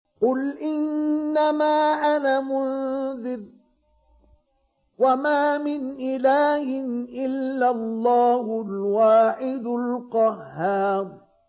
قُلْ إِنَّمَا أَنَا مُنذِرٌ ۖ وَمَا مِنْ إِلَٰهٍ إِلَّا اللَّهُ الْوَاحِدُ الْقَهَّارُ